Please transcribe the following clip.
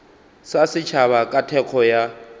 ya setšhaba ka thekgo ya